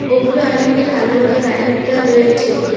ওপরে অনেকগুলি কালো রঙের লাইনের তার রয়েছে।